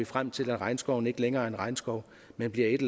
frem til at regnskoven ikke længere er en regnskov men bliver et